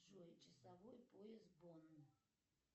джой часовой пояс бонн